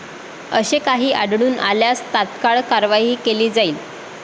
असे काही आढळून आल्यास तात्काळ कारवाई केली जाईल.